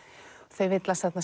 þau villast þarna